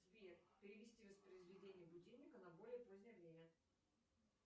сбер перевести воспроизведение будильника на более позднее время